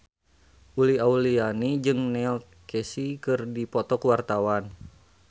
Uli Auliani jeung Neil Casey keur dipoto ku wartawan